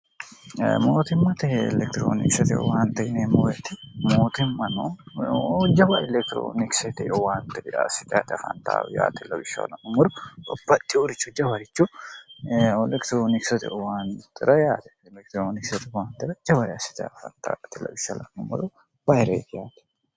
mootimmateh elekitiroonikisote uwaante ineemmoete mootimmano jawa elekitiroonikisete uwaanti biraassite te fan0aawi yt2wshshhumoru opatti urichu jawarichu elekitiroonikisote uwaantira yaate elekitiroonikisote ra jawari assitef2wshh2moru bayireeki yate